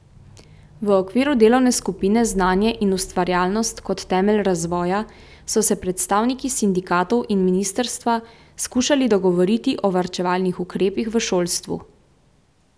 V okviru delovne skupine Znanje in ustvarjalnost kot temelj razvoja so se predstavniki sindikatov in ministrstva skušali dogovoriti o varčevalnih ukrepih v šolstvu.